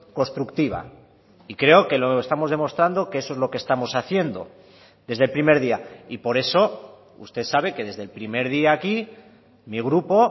constructiva y creo que lo estamos demostrando que eso es lo que estamos haciendo desde el primer día y por eso usted sabe que desde el primer día aquí mi grupo